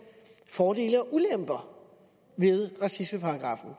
fordele og ulemper ved racismeparagraffen